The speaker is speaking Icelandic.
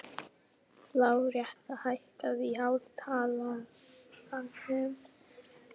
Láretta, hækkaðu í hátalaranum.